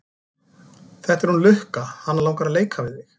Þetta er hún Lukka, hana langar að leika við þig.